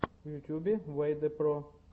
в ютубе вэйдэ про